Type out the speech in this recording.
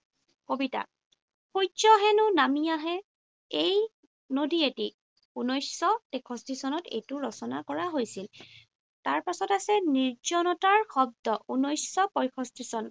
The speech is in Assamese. কবিতা। সূৰ্য হেনো নামি আহে এই নদীয়েদি। ঊনৈশশ তেষষ্ঠী চনত এইটো ৰচনা কৰা হৈছিল। তাৰপাছত আছে নিৰ্জনতাৰ শব্দ। ঊনৈশশ পয়ষষ্ঠী চন।